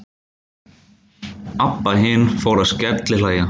Abba hin fór að skellihlæja.